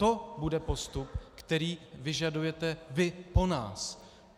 To bude postup, který vyžadujete vy po nás.